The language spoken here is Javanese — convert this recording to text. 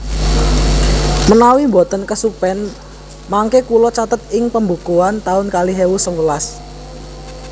Menawi mboten kesupen mangke kulo catet ing pembukuan taun kalih ewu sewelas